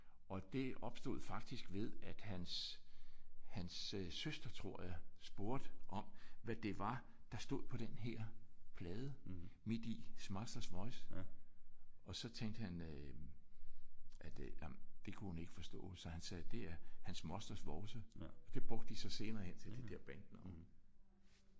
Og det opstod faktisk ved at hans hans søster tror jeg spurgte om hvad det var der stod på den her plade midt i. His Master's Voice og så tænkte han at øh nej det kunne hun ikke forstå så han sagde det er hans mosters vovse og det brugte de senere hen til det der bandnavn